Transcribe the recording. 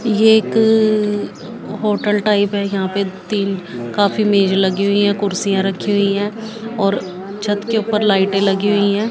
ये एक hotel type है यहां पे तीन काफी मेज लगी हुई हैं कुर्सियां रखी हुई हैं और छत के ऊपर लाइटें लगी हुई हैं।